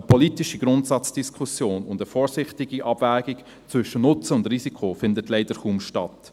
Eine politische Grundsatzdiskussion und eine vorsichtige Abwägung zwischen Nutzen und Risiko findet leider kaum statt.